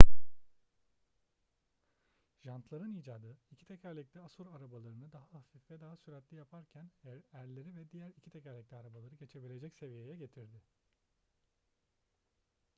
jantların icadı iki tekerlekli asur arabalarını daha hafif ve daha süratli yaparken erleri ve diğer iki tekerlekli arabaları geçebilecek seviyeye getirdi